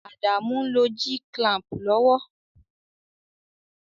Adamu n lo G-clamp lowo